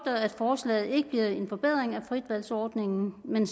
at forslaget ikke bliver en forbedring af fritvalgsordningen men